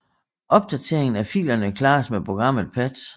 Opdateringen af filerne klares med programmet patch